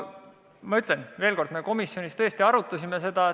Ma ütlen veel kord, et me komisjonis tõesti arutasime seda.